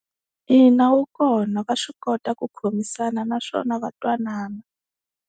Ina, wu kona va swi kota ku khomisana naswona va twanana.